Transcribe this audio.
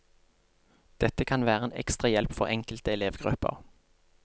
Dette kan være en ekstra hjelp for enkelte elevgrupper.